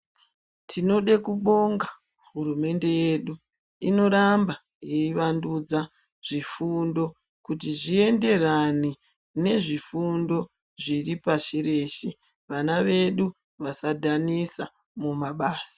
Tinode kubonga hurumende yedu inoramba ichivandudza zvifundo. Kuti zvienderane nezvifundo zviripashireshe vana vedu vasadhanisa mumabasa.